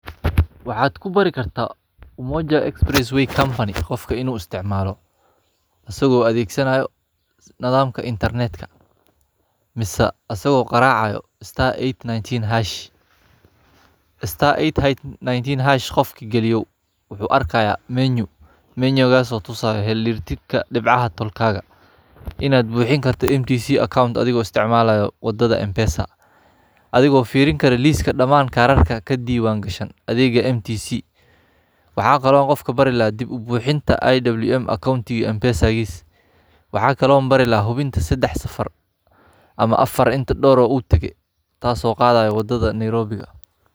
waa waddo weyn oo casri ah oo muhiim u ah magaalada Nairobi iyo guud ahaan dalka Kenya, taasoo loogu talagalay in lagu xalliyo ciriiriga baabuurta ee caasimadda. Waddadan oo dhererkeedu yahay ku dhawaad, waxay isku xirtaa garoonka diyaaradaha iyo bartamaha magaalada Nairobi, iyadoo ka dhigaysa safarka mid aad u fudud oo degdeg ah, waxay leedahay qaab dhismeed heer sare ah, iyadoo leh lix ilaa siddeed lane oo baabuurta loogu talagalay